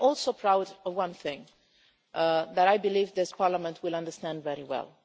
UN. I am also proud of one thing that I believe this Parliament will understand very